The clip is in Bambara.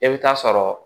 E bɛ taa sɔrɔ